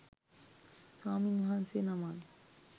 ස්වාමීන් වහන්සේ නමක්